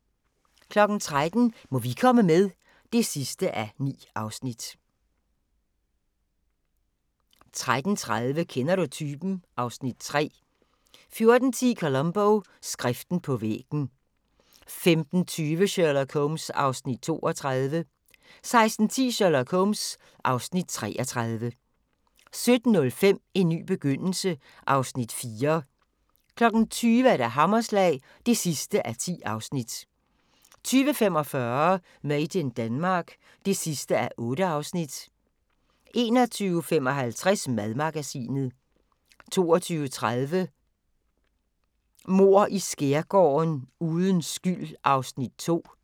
13:00: Må vi komme med? (9:9) 13:30: Kender du typen? (Afs. 3) 14:10: Columbo: Skriften på væggen 15:20: Sherlock Holmes (Afs. 32) 16:10: Sherlock Holmes (Afs. 33) 17:05: En ny begyndelse (Afs. 4) 20:00: Hammerslag (10:10) 20:45: Made in Denmark (8:8) 21:55: Madmagasinet 22:30: Mord i Skærgården: Uden skyld (Afs. 2)